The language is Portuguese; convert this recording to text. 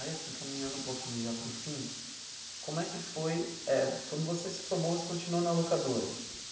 Aí, assim, caminhando um pouquinho já para o fim, como é que foi eh... Quando você se formou, você continuou na locadora.